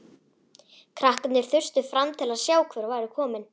Krakkarnir þustu fram til að sjá hver væri kominn.